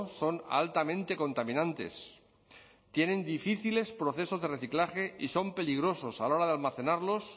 son altamente contaminantes tienen difíciles procesos de reciclaje y son peligrosos a la hora de almacenarlos